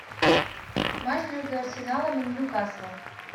матч между арсеналом и ньюкаслом